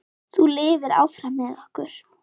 Þú lifir áfram með okkur.